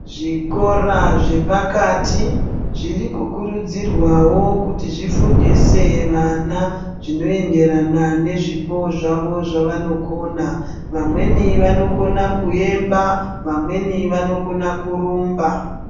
Zvikora zvepakati, zviri kukurudzirwawo kuti zvifundise vana , zvinoenderana nezvipo zvavo zvavanokona. Vamweni vanokona kuemba, vamweni vanokona kurumba.